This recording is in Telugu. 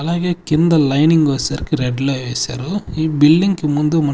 అలాగే కింద లైనింగ్ వచ్చేసరికి రెడ్ లో ఏసారు ఈ బిల్డింగ్ కి ముందు మ--